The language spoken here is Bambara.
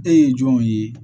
E ye jɔnw ye